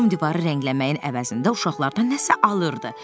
Tom divarı rəngləməyin əvəzində uşaqlardan nəsə alırdı.